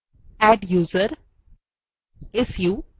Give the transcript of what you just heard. adduser su